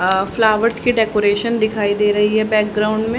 आ flowers की decoration दिखाई दे रही है बैकग्राउंड में।